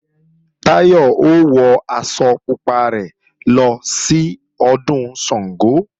Táyọ̀ ó wọ aṣọ pupa rẹ̀ lọ sí Ọdún Ṣàngó